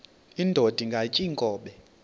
indod ingaty iinkobe